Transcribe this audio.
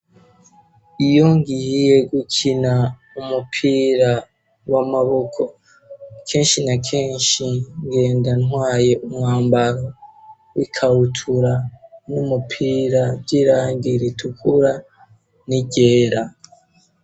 iyongiye gukina umupira w'amaboko kenshi na kenshi ngendantwaye umwambaro w'ikahutura n'umupira by'irangiritukura n'iryera.